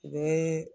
U bɛ